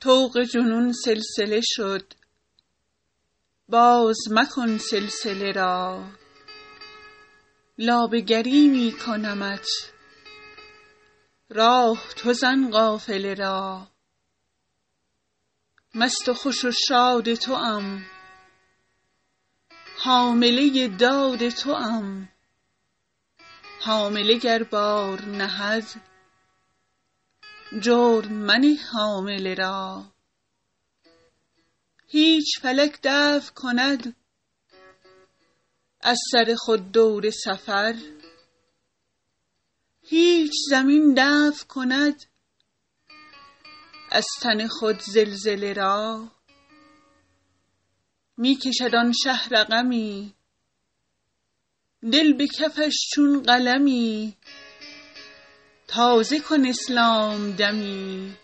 طوق جنون سلسله شد باز مکن سلسله را لابه گری می کنمت راه تو زن قافله را مست و خوش و شاد توام حامله داد توام حامله گر بار نهد جرم منه حامله را هیچ فلک دفع کند از سر خود دور سفر هیچ زمین دفع کند از تن خود زلزله را می کشد آن شه رقمی دل به کفش چون قلمی تازه کن اسلام دمی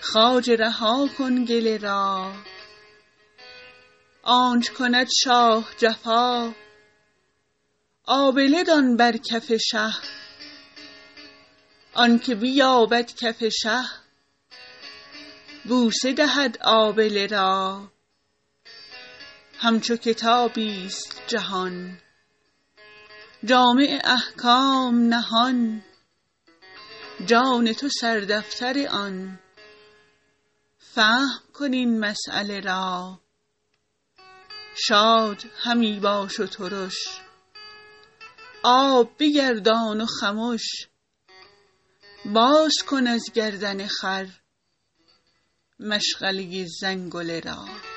خواجه رها کن گله را آنچ کند شاه جفا آبله دان بر کف شه آنک بیابد کف شه بوسه دهد آبله را همچو کتابی ست جهان جامع احکام نهان جان تو سردفتر آن فهم کن این مسیله را شاد همی باش و ترش آب بگردان و خمش باز کن از گردن خر مشغله زنگله را